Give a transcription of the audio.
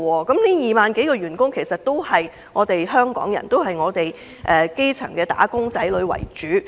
這2萬多名員工都是香港人，並以基層"打工仔女"為主。